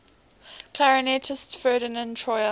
clarinetist ferdinand troyer